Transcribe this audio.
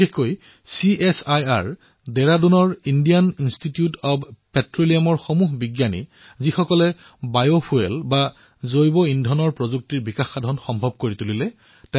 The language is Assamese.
বিশেষকৈ CSIR Indian institute of petroleum Dehradunৰ বৈজ্ঞানিকসকলক যিসকলে জৈৱ ইন্ধনৰ দ্বাৰা বিমান উৰণ প্ৰযুক্তি সম্ভৱ কৰি তুলিছে